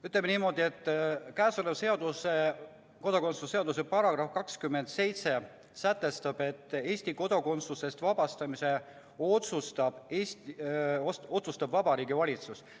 Ütleme niimoodi, et kodakondsuse seaduse § 27 sätestab, et Eesti kodakondsusest vabastamise otsustab Vabariigi Valitsus.